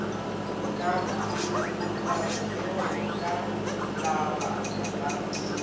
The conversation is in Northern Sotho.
sa phumolameokgo ka labaka la